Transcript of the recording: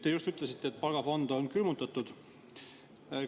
Te just ütlesite, et palgafond on külmutatud.